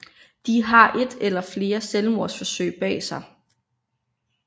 De har et eller flere selvmordsforsøg bag sig